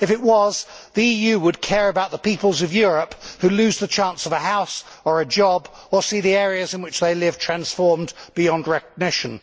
if it was, the EU would care about the peoples of Europe who lose the chance of a house, or a job or see the areas in which they live transformed beyond recognition.